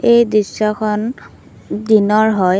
এই দৃশ্যখন দিনৰ হয়।